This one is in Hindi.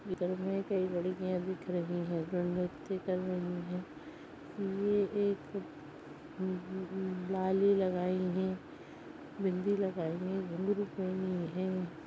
इनमे कोई लड़कियां दिख रही हैं जो व्यक्ति कर रही हैंये एक बाली लगाई हैं बिंदी लगाई हैं --